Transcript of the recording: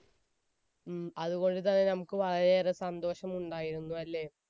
ഉം. അതുകൊണ്ടുതന്നെ നമുക്ക് വളരെയേറെ സന്തോഷമുണ്ടായിരുന്നു. അല്ലെ?